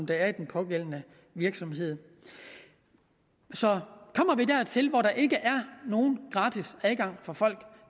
der er i den pågældende virksomhed så kommer vi dertil hvor der ikke er nogen gratis adgang for folk